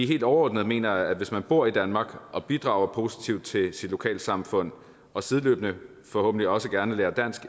helt overordnet mener jeg at hvis man bor i danmark og bidrager positivt til sit lokalsamfund og sideløbende forhåbentlig også gerne lærer dansk